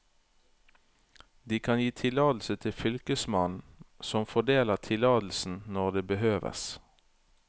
De kan gi tillatelse til fylkesmannen, som fordeler tillatelsen når det behøves.